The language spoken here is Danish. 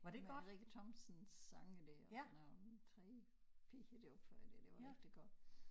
Med Rikke Thomsens sange der og sådan nogle 3 piger der opfører det det var rigtig godt